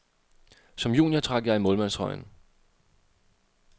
Som junior trak jeg i målmandstrøjen.